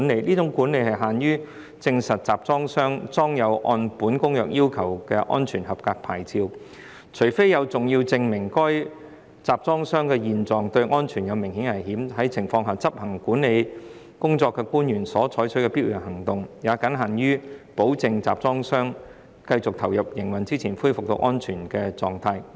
這種管理僅限於證實集裝箱上裝有按《公約》要求的安全合格牌照，除非有重要證明該集裝箱的現狀對安全有明顯的危險，在這種情況下，執行管理工作的官員所採取的必要行動，也僅限於保證集裝箱在繼續投入營運之前恢復到安全狀態。